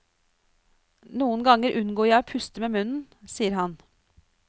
Noen ganger unngår jeg å puste med munnen, sier han.